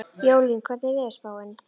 Jólín, hvernig er veðurspáin?